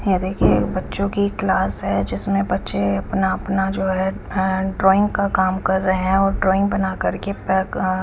ये देखिये बच्चो की क्लास है जिसमे बच्चा जो है अपना अपना जो है ड्राइंग का काम कर रहे है और ड्राइंग बना करके बैग --